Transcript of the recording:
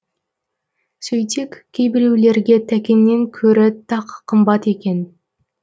сөйтсек кейбіреулерге тәкеннен көрі тақ қымбат екен